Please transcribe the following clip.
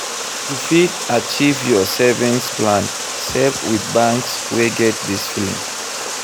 To fit achieve your saving plan save with banks wey get discipline